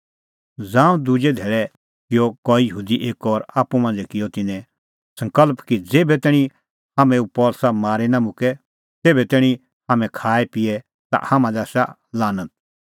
ज़ांऊं दुजै धैल़ै किअ कई यहूदी एक्कअ और आप्पू मांझ़ै किअ तिन्नैं सकल़्प कि ज़ेभै तैणीं हाम्हैं पल़सी मारी निं मुक्के तेभै तैणीं हाम्हैं खाएपिए ता हाम्हां लै आसा लानत